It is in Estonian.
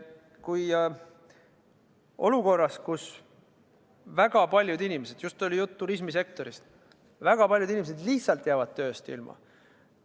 Meil on olukord, kus väga paljud inimesed – just oli juttu turismisektorist – jäävad tööst ilma.